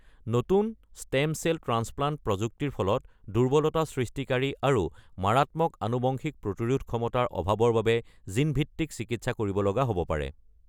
নতুন stem cell transplant প্ৰযুক্তিৰ ফলত দুৰ্বলতা সৃষ্টিকাৰী আৰু মাৰাত্মক আনুবংশিক প্ৰতিৰোধ ক্ষমতাৰ অভাৱৰ বাবে জিন ভিত্তিক চিকিৎসা কৰিব লগা হব পাৰে।